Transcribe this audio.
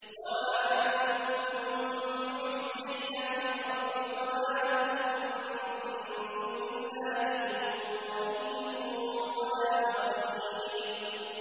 وَمَا أَنتُم بِمُعْجِزِينَ فِي الْأَرْضِ ۖ وَمَا لَكُم مِّن دُونِ اللَّهِ مِن وَلِيٍّ وَلَا نَصِيرٍ